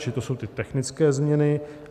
Čili to jsou ty technické změny.